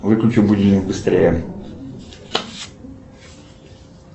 выключи будильник быстрее